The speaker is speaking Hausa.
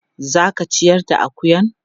Za ka ciyar da akuyan?